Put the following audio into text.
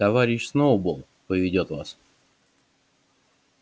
товарищ сноуболл поведёт вас